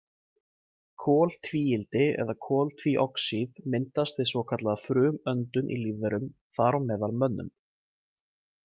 Koltvíildi eða koltvíoxíð myndast við svokallaða frumuöndun í lífverum, þar á meðal mönnum.